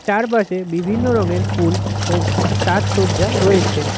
চারপাশে বিভিন্ন রঙের ফুল ও সাজসজ্জা রয়েছে।